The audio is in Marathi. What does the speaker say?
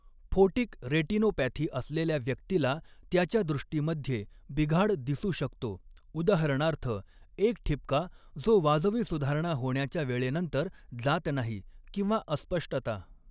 फोटिक रेटिनोपॅथी असलेल्या व्यक्तीला त्याच्या दृष्टीमध्ये बिघाड दिसू शकतो, उदाहरणार्थ, एक ठिपका जो वाजवी सुधारणा होण्याच्या वेळेनंतर जात नाही किंवा अस्पष्टता.